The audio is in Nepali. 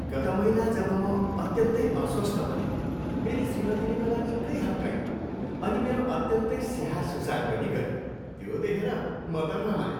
गत महिना जब म अत्यन्तै अस्वस्थ बनेँ मेरी श्रीमतिले मलाई निकै हप्काइन् अनि मेरो अत्यन्तै स्याहार सुसार पनि गरिन्, त्यो देखेर म त रमाएँ।